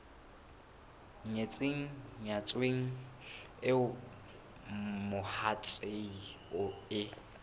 nyetseng nyetsweng eo mohatsae e